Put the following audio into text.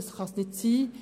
Dies darf nicht sein.